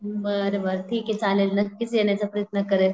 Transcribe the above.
बार बार ठीके चालेल नक्कीच येण्याचा प्रयत्न करेल